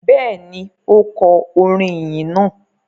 Bẹ́ẹ̀ ni, ó kọ orin ìyìn náà.